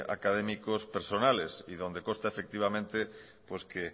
académicos personales y donde consta efectivamente pues que